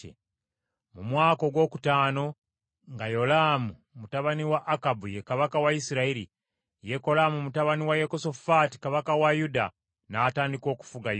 Mu mwaka ogwokutaano nga Yolaamu mutabani wa Akabu ye kabaka wa Isirayiri, Yekolaamu mutabani wa Yekosafaati, kabaka wa Yuda, n’atandika okufuga Yuda.